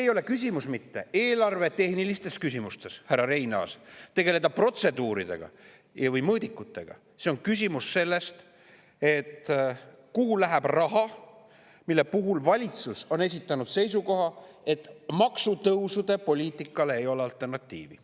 Ja küsimus ei ole mitte selles, härra Reinaas, kas eelarvetehniliselt tegeleda protseduuridega või mõõdikutega, vaid küsimus on selles, kuhu läheb raha, ja mille puhul valitsus on esitanud seisukoha, et maksutõusude poliitikale ei ole alternatiivi.